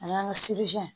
A y'an ka